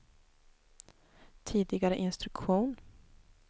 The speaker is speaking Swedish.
tidigare instruktion